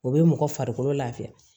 O bɛ mɔgɔ farikolo lafiya